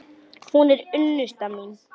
Hún er unnusta mín!